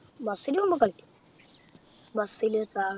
bus ൽ പോകുമ്പോൾ കളിക്കും bus ലു